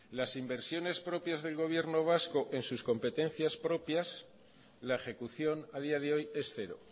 las inversiones propias del gobierno vasco en sus competencias propias la ejecución a día de hoy es cero